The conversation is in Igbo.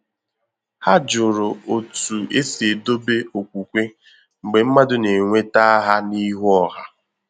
Ha jụrụ otú e si edobe okwukwe mgbe mmadụ na-enweta aha n’ihu ọha